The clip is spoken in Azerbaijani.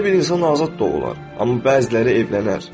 Hər bir insan azad doğular, amma bəziləri evlənər.